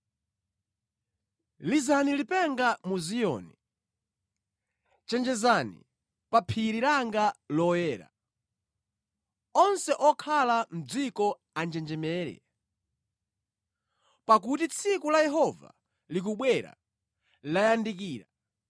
Lizani lipenga mu Ziyoni. Chenjezani pa phiri langa loyera. Onse okhala mʼdziko anjenjemere, pakuti tsiku la Yehova likubwera, layandikira;